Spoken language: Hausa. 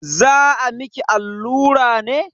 Za a miki allura ne?